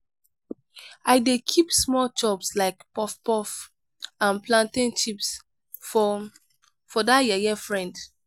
i dey keep small chops like puff-puff and plantain chips for for dat yeye frend.